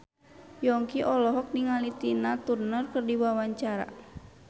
Yongki olohok ningali Tina Turner keur diwawancara